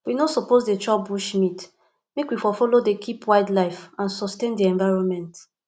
we no suppose dey chop bushmeat make we for follow dey keep wildlife and sustain di environment